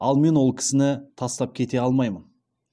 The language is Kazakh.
ал мені ол кісіні тастап кете алмаймын